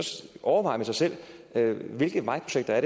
overveje med sig selv hvilke vejprojekter